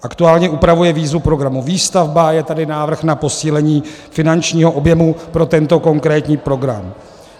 Aktuálně upravuje výzvu programu Výstavba, je tady návrh na posílení finančního objemu pro tento konkrétní program.